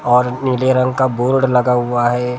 और नीले रंग का बोर्ड लगा हुआ है और--